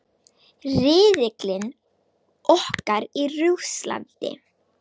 Riðillinn okkar í Rússlandi.